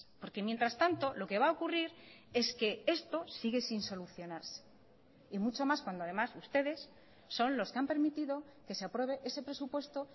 porque mientras tanto lo que va a ocurrir es que esto sigue sin solucionarse y mucho más cuando además ustedes son los que han permitido que se apruebe ese presupuesto